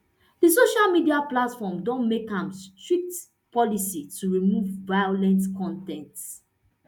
di social media platform don make am strict policy to remove violent con ten t